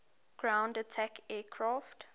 ground attack aircraft